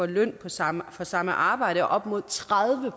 løn for samme for samme arbejde og op imod tredive